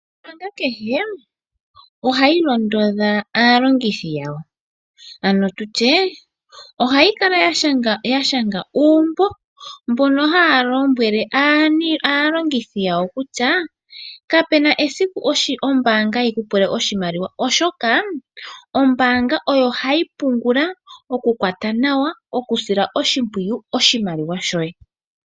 Ombaanga kehe ohayi londodha aalongithi yawo ano tutye ohayi kala ya shanga uumbo mbono haya lombwele aalongithi yawo kutya kapena esiku ombaanga yiku pule oshimaliwa oshoka ombaanga oyo hayi pungula, okukwata nawa, okusila oshimpwiyu oshimaliwa shoye.